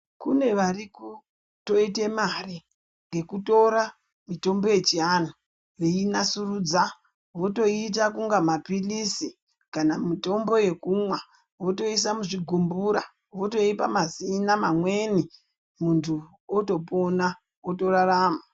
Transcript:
Kune vari kutoita mare ngekutora mitombo yechiantu veinasurudza votoita kunge mapirizi kana mitombo yekumwa votoisa muzvigumbura voipa mazina mamweni muntu atopona otorarama.